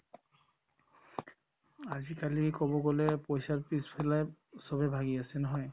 আজিকালি ক'ব গ'লে পইচাৰ পিছফালে চবে ভাগি আছে নহয়